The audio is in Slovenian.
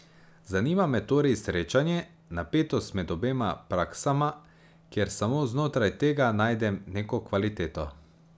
Zanima me torej srečanje, napetost med obema praksama, ker samo znotraj tega najdem neko kvaliteto.